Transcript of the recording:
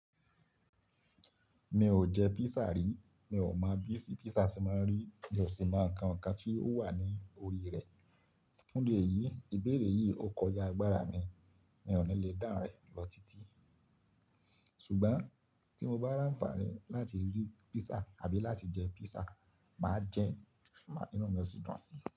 Mi ò jẹ pizza rí, mi ò mọ bí sí pizza tí màá rí bí ò sì máa ń ka ǹkan tí ó wà ní orí rẹ̀. Fún idi èyi, ìbéèrè yìí ò kọjá agbára mi, mi ò ní lè dáhùn rẹ̀ lọ títí. Ṣùgbọ́n tí mo bá rànfàni láti rí pizza àbí láti jẹ pizza, màá jẹ́ má ìná mi ó sì dùn sí i.